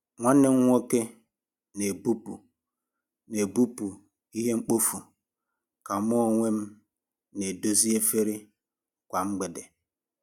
Nwanne m nwoke n'ebupụ n'ebupụ ihe mkpofu, ka mu onwem n'edozi efere kwa mgbede.